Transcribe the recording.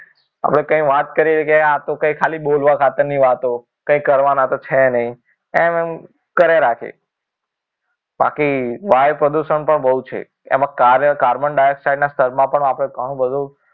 આપણે કંઈ વાત કરીએ કે આ તો ખાલી બોલવા ખાતર ની વાતો કઈ કરવાના તો છે નહીં એમ એમ કર્યા રાખે બાકી વાયુ પ્રદુષણ પણ બહુ છે એમાં કાર કાર્બન ડાયોક્સાઇડ ના સ્તરમાં પણ આપણે ઘણું બધું